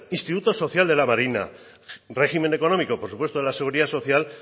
instituto social de la marina régimen económico de la seguridad social